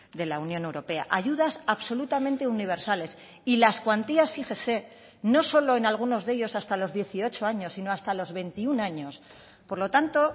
de la unión europea ayudas absolutamente universales y las cuantías fíjese no solo en algunos de ellos hasta los dieciocho años sino hasta los veintiuno años por lo tanto